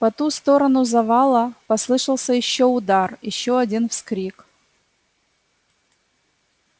по ту сторону завала послышался ещё удар ещё один вскрик